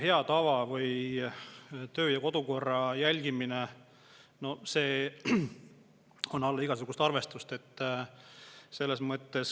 Meie hea tava või töö- ja kodukorra järgimine on alla igasugust arvestust.